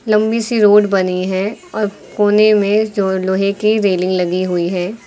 लंबी सी रोड बनी है और कोने में जो लोहे की रेलिंग लगी हुई है।